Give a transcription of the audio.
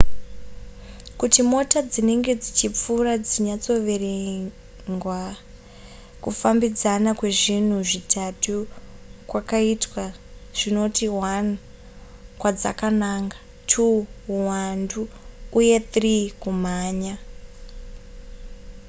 kuti mota dzinenge dzichipfuura dzinyatsoverengwa kufambidzana kwezvinhu zvitatu kwakaitwa zvinoti: 1 kwadzakananga 2 huwandu uye 3 kumhanya